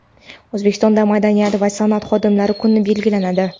O‘zbekistonda madaniyat va san’at xodimlari kuni belgilanadi.